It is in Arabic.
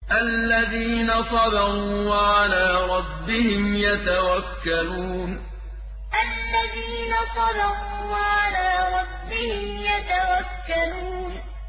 الَّذِينَ صَبَرُوا وَعَلَىٰ رَبِّهِمْ يَتَوَكَّلُونَ الَّذِينَ صَبَرُوا وَعَلَىٰ رَبِّهِمْ يَتَوَكَّلُونَ